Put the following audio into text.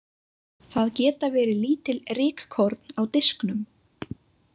Það geta verið lítil rykkorn á disknum.